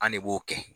An ne b'o kɛ